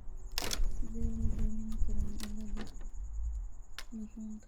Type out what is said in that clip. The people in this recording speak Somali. Sidee loo daweyn karaa cilada Laronka?